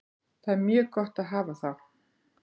Það er mjög gott að hafa þá.